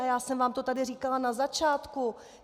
A já jsem vám to tady říkala na začátku.